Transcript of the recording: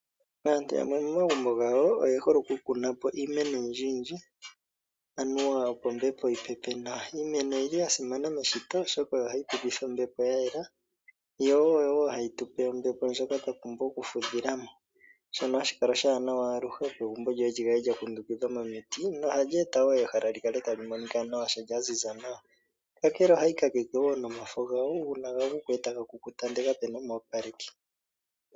Aantu yamwe momagumbo gawo, oye hole oku kuna mo iimeno oyindjiyindji, anuwa opo ombepo yi pepe nawa. Iimeno oyi li ya simana meshito oshoka ohayi tu pethitha ombepo ya yela, yo oyo wo hayi tupe ombepo ndjoka twa pumbwa oku fudhila mo. Shono hashi kala oshiwanawa aluhe opo egumbo lyoye lyi kale lyakundukidhwa komiti lyo lyi ete wo ehala lyi kale tali monika nawa, kaya ziza nawa. Kakele wo ohayi kakeke nomafo gawo, uuna tayeende taga kukuta ndele kapu na omu opaleki.